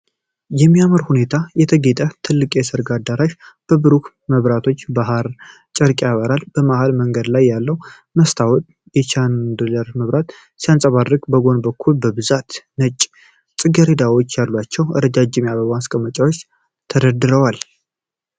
በሚያምር ሁኔታ የተጌጠ ትልቅ የሠርግ አዳራሽ በብሩህ መብራቶችና በሐር ጨርቅ ያበራል። በመሃል መንገድ ላይ ያለው መስታወት የ ቻንዲለር መብራትን ሲያንፀባርቅ፤ በጎን በኩል በብዛት ነጭ ጽጌረዳዎች ያሏቸው ረጃጅም የአበባ ማስቀመጫዎች ተደርድረዋል።